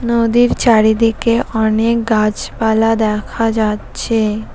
নদীর চারিদিকে অনেক গাছপালা দেখা যাচ্ছে।